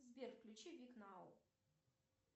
сбер включи вик нау